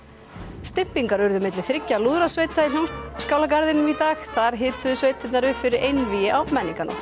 stympingar urðu milli þriggja lúðrasveita í Hljómskálagarðinum í dag þar hituðu sveitirnar upp fyrir einvígi á menningarnótt